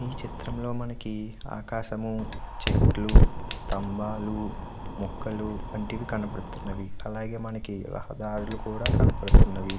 ఈ చిత్రం లో మనకి ఆకాశం చేట్లు స్తంభాలు మోక్కలు కంటికి కనబడుతున్నాయి. అలాగే మనకి రహదార్లు కూడా కనబడుతున్నవి.